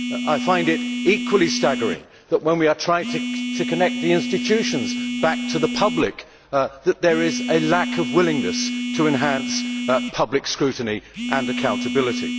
I find it equally staggering that, when we are trying to connect the institutions back to the public, there is a lack of willingness to enhance public scrutiny and accountability.